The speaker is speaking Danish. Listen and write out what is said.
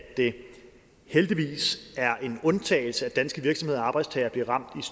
det heldigvis er en undtagelse at danske virksomheder og arbejdstagere bliver ramt